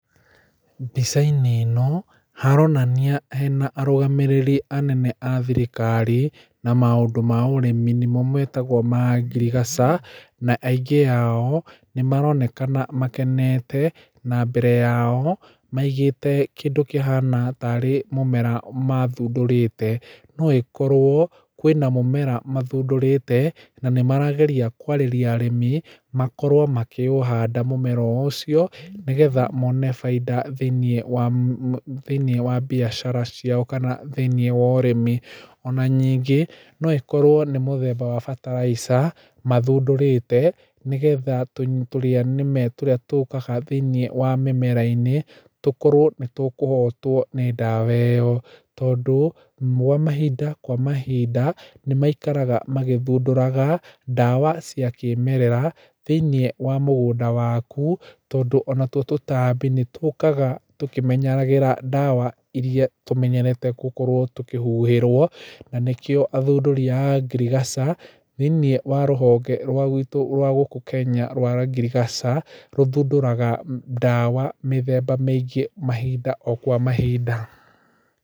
Mbica-inĩ ĩno, haronania hena arũgamĩrĩri anene a thirikari, na maũndũ ma ũrĩmi nĩmo metagwo ma ngirigaca. Na aingĩ ao, nĩ maronekana makenete. Na mbere yao, maigĩte kĩndũ kĩhana tarĩ mũmera mathundũrĩte. No ĩkorwo, kwĩna mũmera mathundũrĩte, na nĩ marageria kwarĩria arĩmi, makorwo makĩũhanda mũmera o ũcio, nĩgetha mone baida thĩiniĩ wa thĩiniĩ wa biacara ciao kana thĩiniĩ wa ũrĩmi. Ona nyingĩ, no ĩkorwo nĩ mũthemba wa bataraica, mathundũrĩte, nĩgetha tũrĩanĩme tũrĩa tũkaga thĩiniĩ wa mĩmera-inĩ, tũkorwo nĩ tũkũhotwo nĩ ndawa ĩyo. Tondũ, mahinda kwa mahinda, nĩ maikaraga magĩthundũraga, ndawa cia kĩmerera, thĩiniĩ wa mũgũnda waku, tondũ ona tuo tũtambi nĩ tũkaga tũkĩmenyeragĩra ndawa irĩa tũmenyerete gũkorwo tũkĩhuhĩrwo. Na nĩkĩo athunduri aya a ngirigaca, thĩiniĩ wa rũhonge rwa guitũ rwa gũkũ Kenya rwa ngirigaca, rũthunduraga ndawa mĩthemba mĩingĩ mahinda o kwa mahinda.